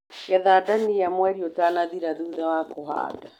Getha ndania mweri ũtanathira thutha wa kũhanda.